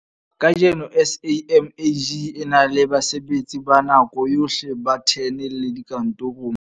Kajeno SAMAG e na le basebetsi ba nako yohle ba 10 le dikantoro mane